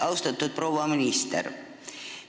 Austatud proua minister!